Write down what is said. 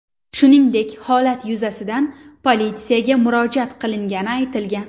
Shuningdek, holat yuzasidan politsiyaga murojaat qilingani aytilgan.